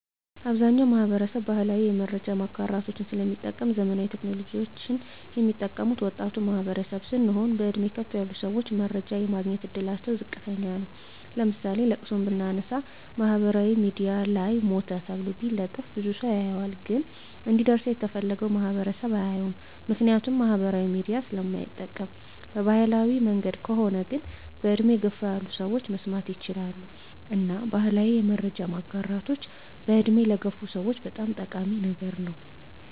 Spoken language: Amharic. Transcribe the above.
አብዛኛዉ ማህበረሰብ ባህላዊ የመረጃ ማጋራቶችን ስለሚጠቀም ዘመናዊ ቴክኖሎጂወችን ሚጠቀሙት ወጣቱ ማህበረሰብ ስለሆን በእድሜ ከፍ ያሉ ሰወች መረጃ የማግኘት እድላቸዉ ዝቅተኛ ነዉ ለምሳሌ ለቅሶን ብናነሳ ማህበራዊ ሚድያ ላይ ሞተ ተብሎ ቢለጠፍ ብዙ ሰዉ ያየዋል ግን እንዲደርሰዉ የተፈለገዉ ማህበረሰብ አያየዉም ምክንያቱም ማህበራዊ ሚዲያ ስለማይጠቀም በባህላዊ መንገድ ከሆነ ግን በእድሜ ገፋ ያሉ ሰወች መስማት ይችላሉ እና ባህላዊ የመረጃ ማጋራቶች በእድሜ ለገፉ ሰወች በጣም ጠቃሚ ነገር ነዉ